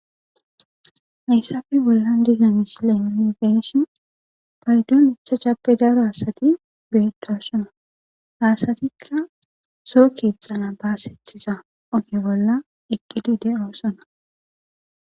Hayssape bollan dizayssan nuni be7ishin payddon ichchachape bolla gidida asati beetosona ha asatika soo keexxanas giigida oge bolla eqidi doosona.